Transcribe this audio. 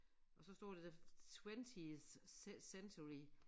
Og så står det der twentieth century